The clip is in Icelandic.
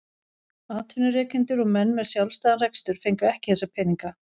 Atvinnurekendur og menn með sjálfstæðan rekstur fengu ekki þessa peninga.